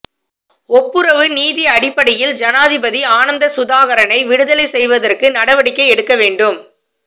ஒப்புரவு நீதி அடிப்படையில் ஜனாதிபதி ஆனந்தசுதாகரனை விடுதலை செய்வதற்கு நடவடிக்கை எடுக்க வேண்டும்